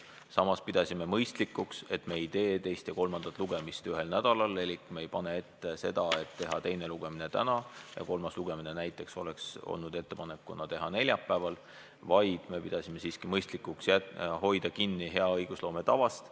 Samas pidasime mõistlikuks, et me ei tee teist ja kolmandat lugemist ühel nädalal, elik me ei pane ette näiteks seda, et teha teine lugemine täna ja kolmas lugemine juba neljapäeval, vaid me pidasime siiski mõistlikuks hoida kinni hea õigusloome tavast.